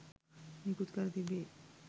නිකුත් කර තිබේ.